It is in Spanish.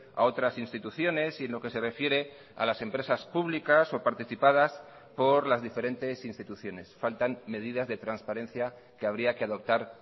a otras instituciones y en lo que se refiere a las empresas públicas o participadas por las diferentes instituciones faltan medidas de transparencia que habría que adoptar